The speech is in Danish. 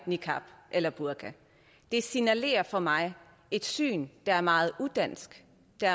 niqab eller burka det signalerer for mig et syn der er meget udansk